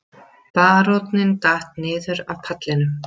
Baróninn datt niður af pallinum.